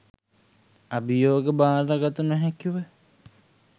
අභියෝග බාරගත නොහැකිව